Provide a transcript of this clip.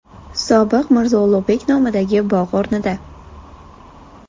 Sobiq Mirzo Ulug‘bek nomidagi bog‘ o‘rnida.